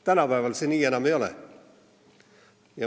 Tänapäeval see nii enam ei ole.